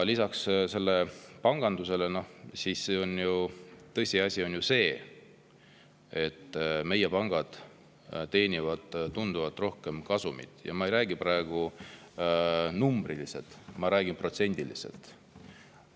Lisaks, panganduses on tõsiasi ju see, et meie pangad teenivad tunduvalt rohkem kasumit, ja ma ei räägi praegu numbriliselt, vaid ma räägin protsendiliselt.